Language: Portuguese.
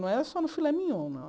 Não era só no filé mignon, não.